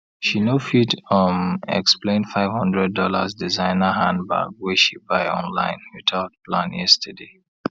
she no fit um explain five hundred dollars designer handbag wey she buy online without plan yesterday